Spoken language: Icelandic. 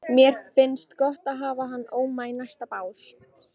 Mér finnst gott að hafa hann Óma í næsta bás.